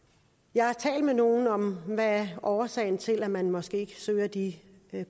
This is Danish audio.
jeg har talt med nogle om hvad der er årsagen til at man måske ikke søger de